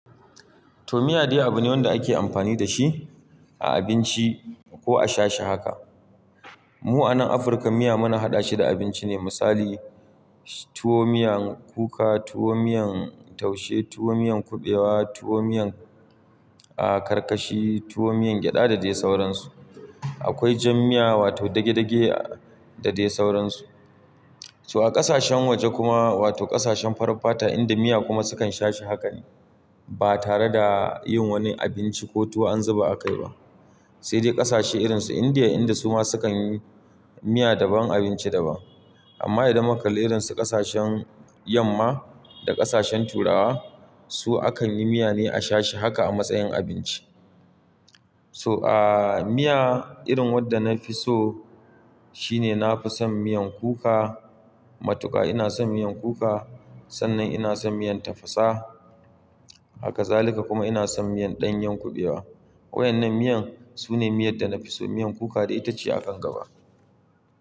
To miya dai abu ne wanda ake amfani da shi a abinci ko a sha shi haka. Mu a nan Afirka miya muna haɗa shi da abinci ne misali tuwo miyan kuka, tuwo miyan taushe, tuwo miyan kuɓewa, tuwo miyan a karkashi tuwo miyan gyada da dai sauransu. Akwai jan miya wato dage-dage da dai sauransu. So a ƙasashen waje kuma wato ƙasashen farar fata inda miya kuma sukan sha shi haka ne ba tare da yin wani abinci ko tuwo an zuba a kai ba. Sai dai ƙasashe irin su Indiya inda su ma sukan yi miya daban abinci daban. Amma idan muka kalli irin su ƙasashen yamma da ƙasashen turawa su akan yi miya ne a sha shi haka a matsayin abinci. To, miya irin wadda nafi so shine nafi son miyan kuka matuka ina son miyan kuka sannan ina son miyan tafasa. Haka zalika kuma ina son miyan ɗanyen kuɓewa. Wa'yannan miyan su ne miyan da nafi so miyan kuka dai ita ce a kan gaba.